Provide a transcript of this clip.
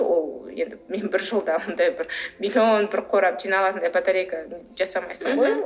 ол енді мен бір жылда ондай бір миллион бір қорап жиналатындай батарейка жасамайсың ғой